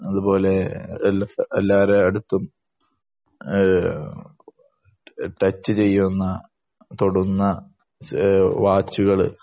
അതുപോലെ എല്ലാരടുത്തും ടച് ചെയ്യുന്ന തൊടുന്ന വാച്ചുകൾ